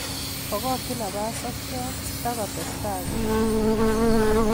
Bokokyin napas sokyot sitakotesta korut.